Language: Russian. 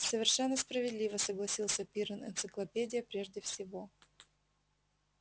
совершенно справедливо согласился пиренн энциклопедия прежде всего